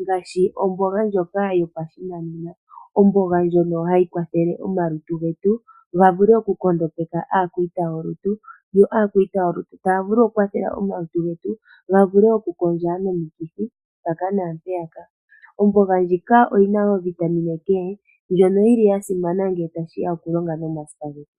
ngaashi omboga ndjoka yopashinanena, omboga ndjono hayi kwathele omalutu getu ga vule okunkondopeka aakwiita yolutu yo aakwiita yolutu taya vulu okukwathela omalutu getu ga vule okukondja nomikithi mpaka naampeyaka. Omboga ndjika oyina woo ovitaminaK ndjono yili ya simana ngele tashiya ko ku longa nomasipa getu.